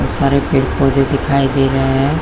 बहुत सारे पेड़-पौधे दिखाई दे रहे है।